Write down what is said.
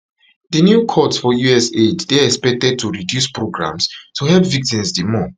di new cuts for us aid dey expected to reduce programmes to help victims di more